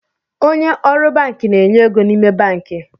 Onye ọrụ banki na-enye ego n’ime banki